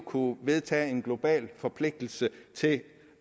kunne vedtage en global forpligtelse til at